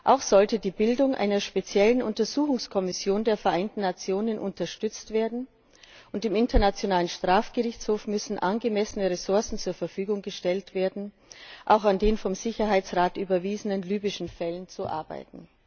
Auch sollte die Bildung einer speziellen Untersuchungskommission der Vereinten Nationen unterstützt werden, und im Internationalen Strafgerichtshof müssen angemessene Ressourcen zur Verfügung gestellt werden, um auch an den vom Sicherheitsrat überwiesenen libyschen Fällen zu arbeiten.